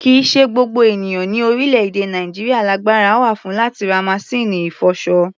Kì í ṣe gbogbo ènìyàn ní orílẹ̀-èdè Nàìjíríà lagbára wà fún láti ra masíìnì ìfọṣọ.